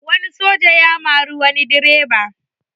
Wani soja ya mari wani direba